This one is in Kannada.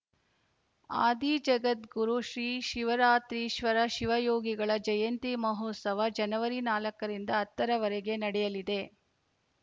ಆದಿಜಗದ್ಗುರು ಶ್ರೀ ಶಿವರಾತ್ರೀಶ್ವರ ಶಿವಯೋಗಿಗಳ ಜಯಂತಿ ಮಹೋತ್ಸವ ಜನವರಿ ನಾಲ್ಕ ರಿಂದ ಹತ್ತರವರೆಗೆ ನಡೆಯಲಿದೆ